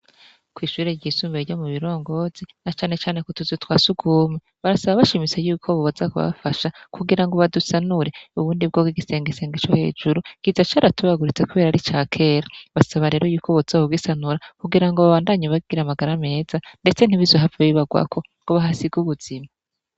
Kw'ishure ryisumbuye ryo mu Birongozi, na cane cane ku tuzu twa surwumwe, barasaba bashimitse ko boza kubafasha kugira ngo badusanure. Ubundi bwo igisengesenge co hejuru kiza caratobaguritse kubera ari ica kera. Basaba rero ko boza kugisanura kugira babandanye bagira amagara meza, ndetse ntibizohave bibarwako ngo bahasige ubuzima.